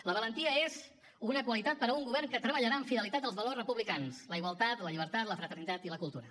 la valentia és una qualitat per a un govern que treballarà amb fidelitat els valors republicans la igualtat la llibertat la fraternitat i la cultura